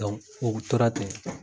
u tora ten.